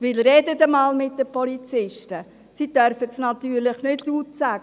Sprechen Sie mit den Polizisten, diese können das nicht öffentlich sagen.